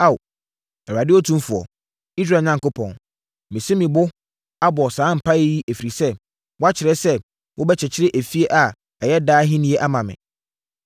“Ao, Awurade Otumfoɔ, Israel Onyankopɔn, masi me bo abɔ saa mpaeɛ yi ɛfiri sɛ woakyerɛ sɛ wobɛkyekyere fie a ɛyɛ daa ahennie ama me.